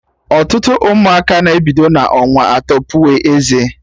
Ọtụtụ ụmụaka na-ebido n'ọnwa atọ puwe eze